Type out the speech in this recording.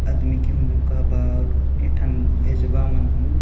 आदमी की हुन ए ठन भेजवा मनहुँ ।